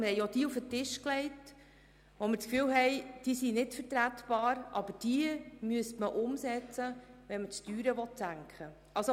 Und wir legten Ihnen auch diejenigen auf den Tisch, bei denen wir den Eindruck hatten, sie seien nicht vertretbar, müssten aber umgesetzt werden, wenn die Steuern gesenkt werden sollen.